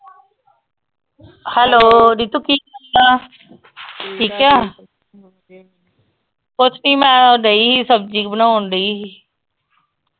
Hello Ritu ਕੀ ਆ ਠੀਕ ਆ ਕੁੱਛ ਨਹੀਂ ਮੈਂ ਉਹ ਡਈ ਸੀ ਸਬਜ਼ੀ ਬਣਾਉਣ ਡਈ ਸੀ।